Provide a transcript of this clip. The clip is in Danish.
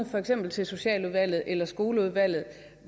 for eksempel til socialudvalget eller skoleudvalget